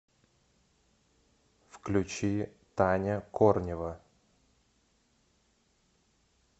включи таня корнева